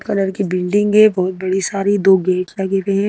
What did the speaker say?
Colour की building है बहुत बड़ी सारी दो गेट लगी हुई है।